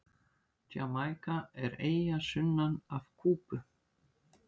Jamaíka er eyja sunnan af Kúbu.